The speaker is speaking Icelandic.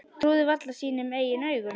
Trúði varla sínum eigin augum.